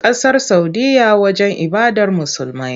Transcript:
Ƙasar Saudiyya wajen ibadar Musulmai.